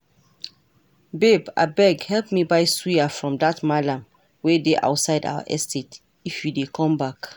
Babe abeg help me buy suya from dat mallam wey dey outside our estate if you dey come back